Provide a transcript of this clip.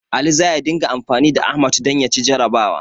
Ali za ya dinga anfani da Ahmad don ya ci jarrabawa.